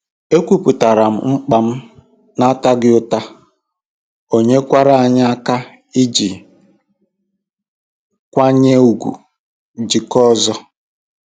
Ekwupụtaara m mkpa m n'ataghị ụta, ọ nyekwara anyị aka iji nkwanye ùgwù jikọọ ọzọ.